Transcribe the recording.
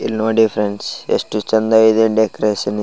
ಇಲ್ನೋಡಿ friends ಎಷ್ಟು ಚೆಂದ ಇದೆ ಡೆಕೋರೇಷನ್ .